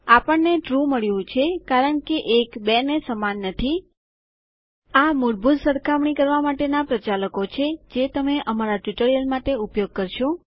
આપણને ટ્રૂ મળ્યું છે કારણ કે ૧ ૨ને સમાન નથી આ મૂળભૂત સરખામણી કરવા માટેના પ્રચાલકો છે જે તમે અમારા ટ્યુટોરિયલો માટે ઉપયોગ કરશો